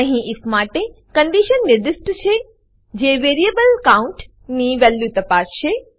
અહી ઇફ માટે કન્ડીશન નિર્દિષ્ટ છે જે વેરીએબલ કાઉન્ટ ની વેલ્યુ તપાસશે